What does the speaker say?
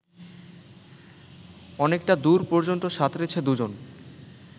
অনেকটা দূর পর্যন্ত সাঁতরেছে দুজন